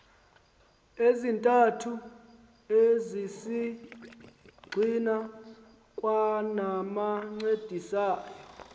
ezintathu ezisisigxina kwanabancedisayo